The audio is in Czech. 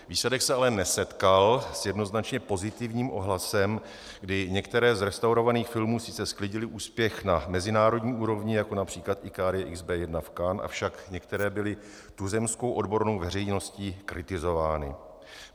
Výsledek se ale nesetkal s jednoznačně pozitivním ohlasem, kdy některé z restaurovaných filmů sice sklidily úspěch na mezinárodní úrovni, jako například Ikarie XB 1 v Cannes, avšak některé byly tuzemskou odbornou veřejností kritizovány.